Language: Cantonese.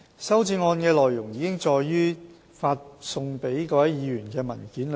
修正案的內容已載於發送給各位議員的文件中。